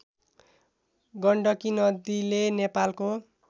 गण्डकी नदीले नेपालको